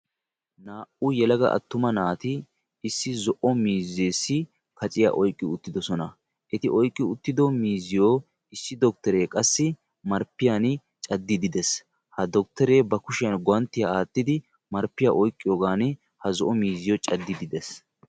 Naa"u yelaga attuma naati issi zo'o miizzeessi kaciya oyiqqi uttidosona. Eti oyikki uttido miizziyo issi dokttere qassi marppiyan caddiiddi des. Ha dotkttere ba kushiyan guwanttiya aattidi marppiyan oyikkiyigan ha zo'o miizziyo caddiiddi des.